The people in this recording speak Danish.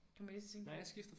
Kom jeg lige til at tænke på